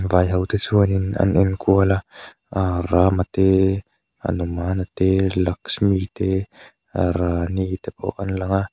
vai ho te chuanin an en kual a aaa rama te hanumana te lakshmi te rani te pawh an lang a.